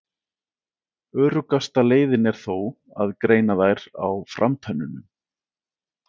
Öruggasta leiðin er þó að greina þær á framtönnunum.